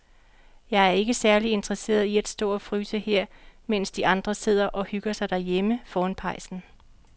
Jeg er ikke særlig interesseret i at stå og fryse her, mens de andre sidder og hygger sig derhjemme foran pejsen.